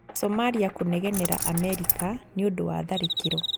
Somalia kũnegenera Amerika nĩũndũ wa tharĩkĩro